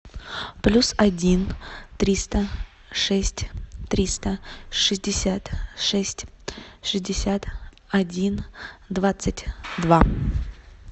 плюс один триста шесть триста шестьдесят шесть шестьдесят один двадцать два